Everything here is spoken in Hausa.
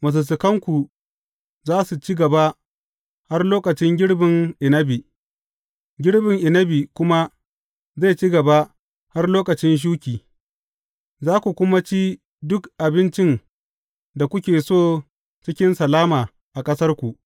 Masussukanku za su ci gaba har lokacin girbin inabi, girbin inabi kuma zai ci gaba har lokacin shuki, za ku kuma ci duk abincin da kuke so cikin salama a ƙasarku.